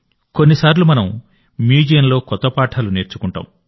కొన్నిసార్లు మనం మ్యూజియంలో కొత్త పాఠాలు నేర్చుకుంటాం